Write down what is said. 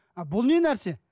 а бұл нәрсе